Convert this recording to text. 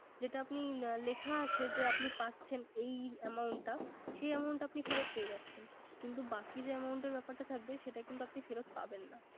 যেটা আপনি লেখা আছে। যে আপনি পাচ্ছেন এই Amount টা সেই Amount আপনি ফেরত পেয়ে যাচ্ছেন। কিন্তু বাকী যে Amount এর ব্যাপারটা থাকবে সেটা কিন্তু আপনি ফেরত Amount পাবেন না।